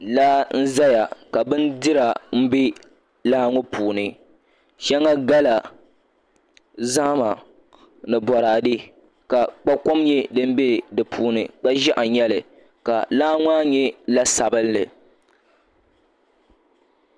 Laa n ʒɛya ka bindira bɛ laa ŋo puuni shɛŋa gala zahama ni boraadɛ ka kpa kom nyɛ din bɛ di puuni kpa ʒiɛɣu n nyɛli la laa maa nyɛ la sabinli